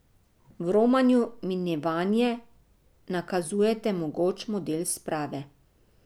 V romanju Minevanje nakazujete mogoč model sprave...